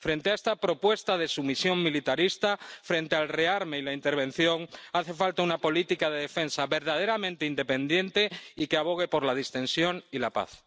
Frente a esta propuesta de sumisión militarista, frente al rearme y la intervención, hace falta una política de defensa verdaderamente independiente y que abogue por la distensión y la paz.